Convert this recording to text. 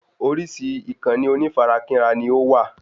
Orísìí ìkànnì onífarakínra ni ówà